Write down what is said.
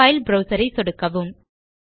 file browser ஐ சொடுக்கவும்